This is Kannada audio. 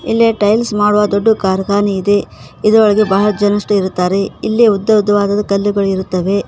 ಇಲ್ಲಿ ಟೈಲ್ಸ್ ಮಾಡುವ ದೊಡ್ದು ಕಾರ್ಖಾನೆ ಇದೆ ಇದ್ರೊಳಗೆ ಬಹಳ ಜನಷ್ಟು ಇರುತ್ತಾರೆ ಇಲ್ಲಿ ಉದ್ದ ಉದ್ದವಾದ ಕಲ್ಲುಗಳು ಇರುತ್ತವೆ.